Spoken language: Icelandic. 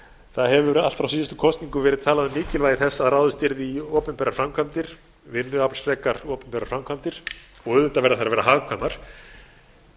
það hefur frá síðustu kosningum verið talað um mikilvægi þess að ráðist yrði í opinberar framkvæmdir vinnuaflsfrekar opinberar framkvæmdir og auðvitað verða þær að